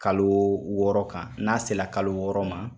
Kalo wɔɔrɔ kan, n'a sera kalo wɔɔrɔ ma,